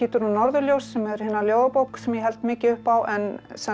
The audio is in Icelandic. og norðurljós sem er ljóðabók sem ég held mikið upp á en